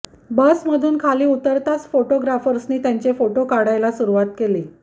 बसमधून खाली उतरताच फोटोग्राफर्सनी त्यांचे फोटो काढायला सुरुवात केली